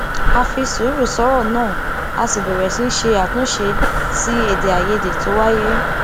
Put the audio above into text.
a fi sùúrù sòrò náà a sì bèrè sí ṣe àtúnṣe sí èdè àìyedè tó wáyè